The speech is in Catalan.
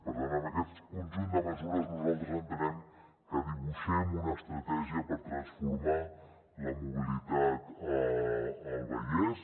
per tant amb aquest conjunt de mesures nosaltres entenem que dibuixem una estratègia per transformar la mobilitat al vallès